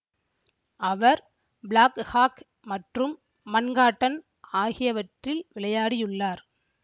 அவர் Black Hawk மற்றும் Manhattan ஆகியவற்றில் விளையாடியுள்ளார்